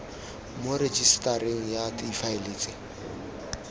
mo rejisetareng ya difaele tse